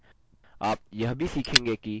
आप यह भी सीखेंगे कि